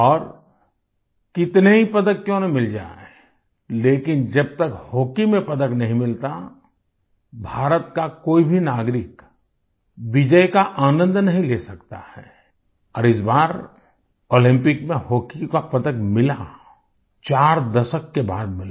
और कितने ही पदक क्यों न मिल जाएं लेकिन जब तक हॉकी में पदक नहीं मिलता भारत का कोई भी नागरिक विजय का आनंद नहीं ले सकता है और इस बार ओलंपिक में हॉकी का पदक मिला चार दशक के बाद मिला